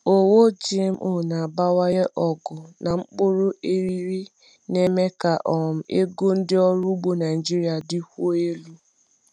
Owu GMO na-abawanye ogo na mkpụrụ eriri, na-eme ka um ego ndị ọrụ ugbo Naijiria dịkwuo elu.